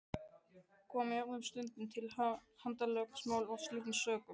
Kom jafnvel stundum til handalögmáls af slíkum sökum.